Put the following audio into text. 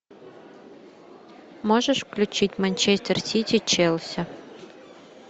можешь включить манчестер сити челси